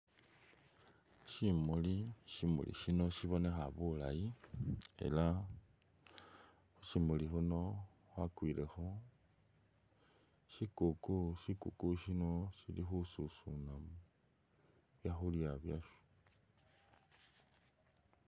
Syimuli, Syimuli syino syibonekha bulayi ela khu syimuli khuno khwakwilekho syikuku. Syikuuku syili khesusuna byakhulya basyo.